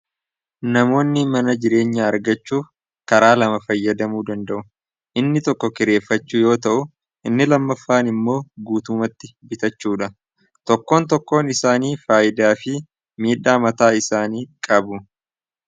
namoonni mana jireenya argachuu karaa lama fayyadamuu danda'u inni tokko kireeffachuu yoo ta'u inni lammaffaan immoo guutumatti bitachuudha tokkoon tokkoon isaanii faayidaa fi miidhaa mataa isaanii qabu